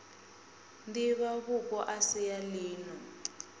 divhavhupo a si a lino